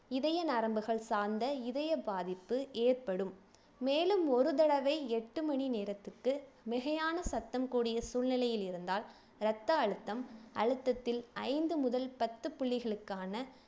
இதய நரம்புகள் சார்ந்த இதய பாதிப்பு ஏற்படும் மேலும் ஒரு தடவை எட்டு மணி நேரத்துக்கு மிகையான சத்தம் கூடிய சூழ்நிலையில் இருந்தால் ரத்த அழுத்தம் அழுத்தத்தில் ஐந்து முதல் பத்து புள்ளிகளுக்கான